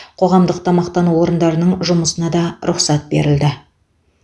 қоғамдық тамақтану орындарының жұмысына да рұқсат берілді